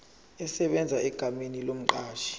esebenza egameni lomqashi